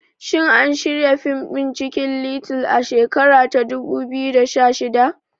Shin an shirya fim ɗin Cikin little a shekara ta dubu biyu da shida?